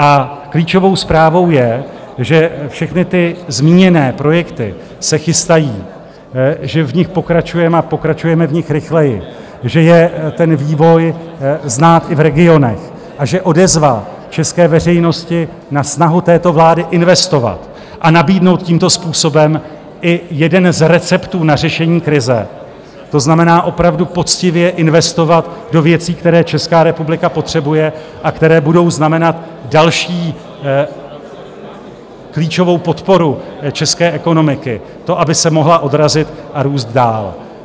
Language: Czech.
A klíčovou zprávou je, že všechny ty zmíněné projekty se chystají, že v nich pokračujeme, a pokračujeme v nich rychleji, že je ten vývoj znát i v regionech a že odezva české veřejnosti na snahu této vlády investovat a nabídnout tímto způsobem i jeden z receptů na řešení krize, to znamená opravdu poctivě investovat do věcí, které Česká republika potřebuje a které budou znamenat další klíčovou podporu české ekonomiky, to, aby se mohla odrazit a růst dál.